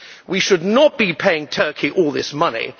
We should not be paying Turkey all this money.